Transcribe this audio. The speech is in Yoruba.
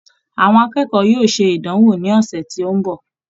Àwọn akẹ́kọ̀ọ́ yóò ṣe ìdánwò ni ọsẹ̀ tí ó ń bọ̀.